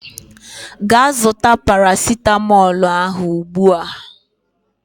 Gaa zụta parasịtamọọl ahụ ugbua!